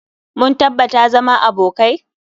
Mun tabbata zama abokai.